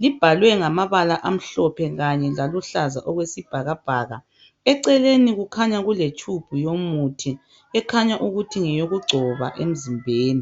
libhaliwe ngamabala emhlophe Kanye laluhlaza okwesibhakabhaka. Eceleni kukhanya kule tube yomuthi ekhaya ukuthi ngeyokugcoba emzimbeni.